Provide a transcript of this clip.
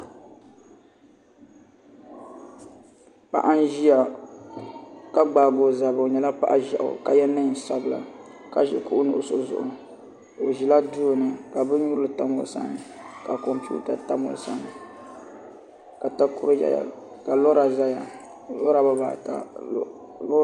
Paɣa n ʒiya ka gbaagi o zabiri o nyɛla paɣa ʒiɛɣu ka yɛ neen sabila ka ʒi kuɣu nuɣso zuɣu o ʒila duu ka bin nyurili tam zuɣusaa ka kompiuta tam o sani ka takoro yɛya ka lora ʒɛya lora bibaata